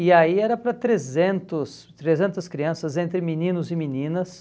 E aí era para trezentos trezentas crianças, entre meninos e meninas.